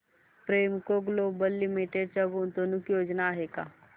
Premco global limited च्या गुंतवणूक योजना आहेत का